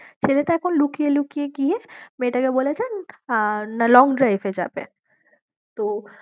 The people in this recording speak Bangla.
ছেলেটা এখন লুকিয়ে লুকিয়ে গিয়ে মেয়েটাকে বলেছে আহ না long drive এ যাবে তো